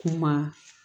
Kuma